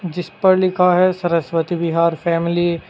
जिस पर लिखा है सरस्वती विहार फैमिली ।